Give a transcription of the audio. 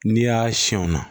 N'i y'a siyɛn o na